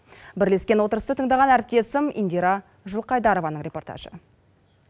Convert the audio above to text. бірлескен отырысты тыңдаған әріптесім индира жылқайдарованың репортажы